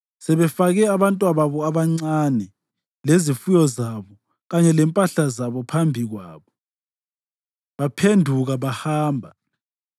Sebefake abantwababo abancane, lezifuyo zabo kanye lempahla zabo phambi kwabo, baphenduka bahamba.